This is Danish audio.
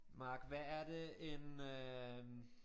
Mark hvad er det en øh